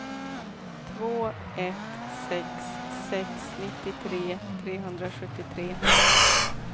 två ett sex sex nittiotre trehundrasjuttiotre